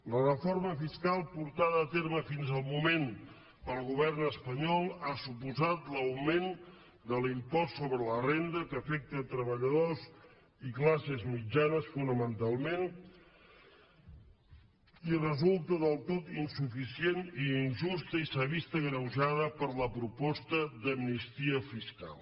la reforma fiscal portada a terme fins al moment pel govern espanyol ha suposat l’augment de l’impost sobre la renda que afecta treballadors i classes mitjanes fonamentalment i resulta del tot insuficient i injusta i s’ha vist agreujada per la proposta d’amnistia fiscal